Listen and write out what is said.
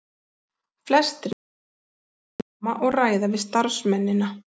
Flestir listamennirnir koma og ræða við starfsmennina.